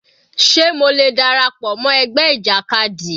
Sé mo lè dára pọ̀ mọ́ ẹgbẹ́ ìjàkadì?